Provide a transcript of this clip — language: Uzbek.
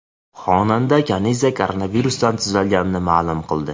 Xonanda Kaniza koronavirusdan tuzalganini ma’lum qildi.